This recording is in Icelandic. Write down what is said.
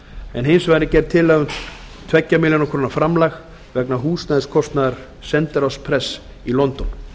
en hins vegar er gerð tillaga um tvær milljónir króna framlag vegna húsnæðiskostnaðar sendiráðsprests í london